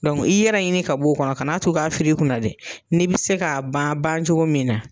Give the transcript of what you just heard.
i yɛrɛ ɲini ka bon o kɔnɔ kanaa to k' a firi i kun na dɛ, ni bɛ se k'a ban bancogo min na.